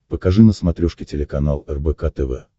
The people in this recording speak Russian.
покажи на смотрешке телеканал рбк тв